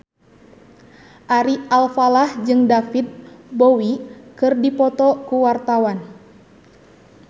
Ari Alfalah jeung David Bowie keur dipoto ku wartawan